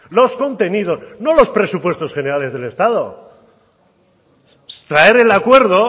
los contenidos no los presupuestos generales del estado traer el acuerdo